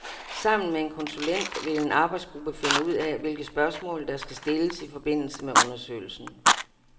Sammen med en konsulent vil en arbejdsgruppe finde ud af, hvilke spørgsmål der skal stilles i forbindelse med undersøgelsen.